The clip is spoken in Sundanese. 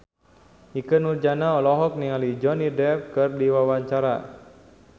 Ikke Nurjanah olohok ningali Johnny Depp keur diwawancara